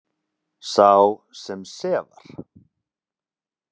Sá sem sefar.